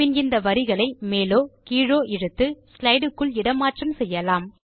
பின் இந்த வரிகளை மேலோ கீழோ இழுத்து ஸ்லைடு க்குள் இட மாற்றம் செய்யலாம்